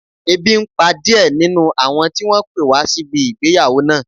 Ebi n pa díẹ̀ nínú àwọn tí wọ́n pé wá síbi ìgbéyàwó náà